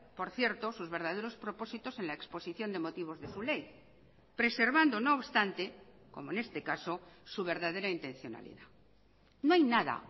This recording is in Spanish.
por cierto sus verdaderos propósitos en la exposición de motivos de su ley preservando no obstante como en este caso su verdadera intencionalidad no hay nada